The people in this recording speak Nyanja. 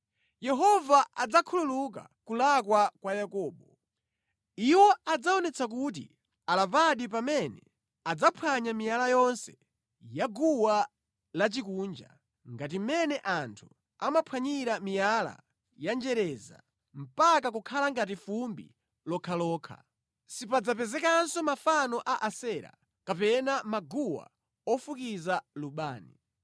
Yehova adzakhululuka kulakwa kwa Yakobo. Iwo adzaonetsa kuti alapadi pamene adzaphwanya miyala yonse ya guwa lachikunja, ngati mmene anthu amaphwanyira miyala yanjereza mpaka kukhala ngati fumbi lokhalokha. Sipadzapezekanso mafano a Asera kapena maguwa ofukiza lubani.